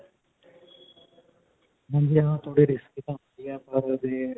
risky ਪਰ ਓਹਦੇ.